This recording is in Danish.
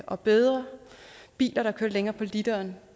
og bedre biler der kører længere på literen